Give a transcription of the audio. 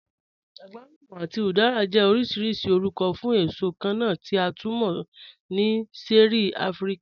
Àgwàlùmà àti udara jẹ́ ọ̀rọ̀ṣìrìṣì ọ̀rùkọ̀ fún èṣò kànna tí a tú mọ̀ ni ṣẹ̀ẹ̀rí Àfíríkà